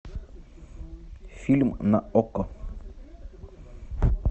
фильм на окко